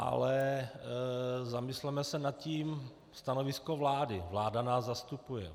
Ale zamysleme se nad tím: stanovisko vlády, vláda nás zastupuje.